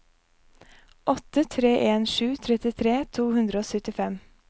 åtte tre en sju trettitre to hundre og syttifem